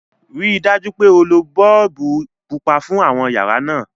ríi dájú pé o ló boolubu pupa fún àwọn yàrá náa!